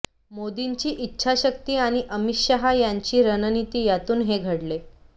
मोदींची इच्छाशक्ती आणि अमित शहा यांची रणनिती यातून हे घडले